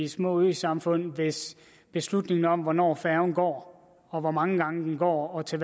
små øsamfund hvis beslutningen om hvornår færgen går og hvor mange gange den går og til